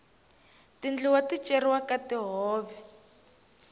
tindluwa ti cheriwa ka tihove